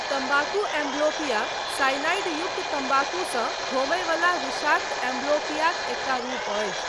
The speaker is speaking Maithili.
तम्बाकू एंब्लोपिया, साइनाइड युक्त तम्बाकूसँ होमयवला विषाक्त एंब्लोपियाक एकटा रूप अछि।